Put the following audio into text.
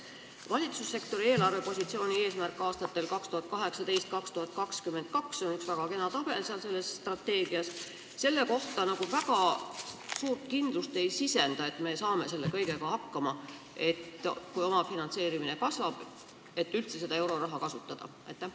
Valitsussektori eelarvepositsiooni eesmärk aastatel 2018–2022 – strateegias on üks väga kena tabel selle kohta – ei sisenda väga suurt kindlust, et me saame selle kõigega hakkama, kui omafinantseerimine selleks, et üldse seda euroraha saaks kasutada, kasvab.